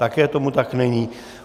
Také tomu tak není.